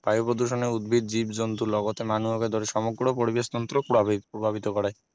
বায়ু প্ৰদূষণে উদ্ভিদ জীৱ-জন্তুৰ লগতে মানুহকে ধৰি সমগ্ৰ পৰিবেশ তন্ত্ৰক প্ৰভাৱিত কৰে